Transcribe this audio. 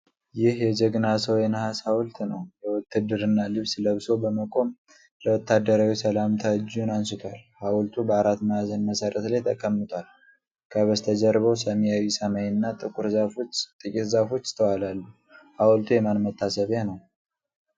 ይህ የ ጀግና ሰው የነሐስ ሐውልት ነው። የውትድርና ልብስ ለብሶ በመቆም ለወታደራዊ ሰላምታ እጁን አንስቷል። ሐውልቱ በአራት ማዕዘን መሠረት ላይ ተቀምጧል። ከበስተጀርባው ሰማያዊ ሰማይና ጥቂት ዛፎች ይስተዋላሉ። ሐውልቱ የማን መታሰቢያ ነው?